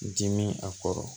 Dimi a kɔrɔ